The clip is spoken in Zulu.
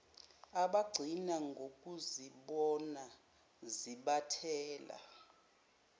abagcina ngokuzibona zibathela